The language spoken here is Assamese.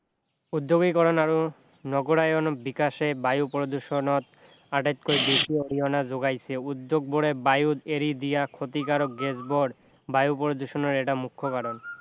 উদ্যোগীকৰণ আৰু নগৰায়ন বিকাশে বায়ু প্ৰদূষণত আটাইতকৈ বেছি অৰিহণা যোগাইছে উদ্যোগবোৰে বায়ুত এৰি দিয়া ক্ষতিকাৰক গেছবোৰ বায়ু প্ৰদূষণৰ এটা মুখ্য কাৰণ